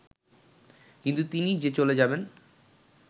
কিন্তু তিনি যে চলে যাবেন